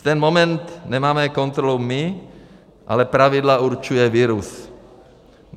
V ten moment nemáme kontrolu my, ale pravidla určuje virus.